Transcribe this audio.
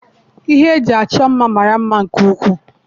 Ihe eji achọ mma mara mma nke ukwuu.